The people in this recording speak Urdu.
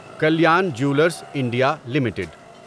Kalyan jewellers India limited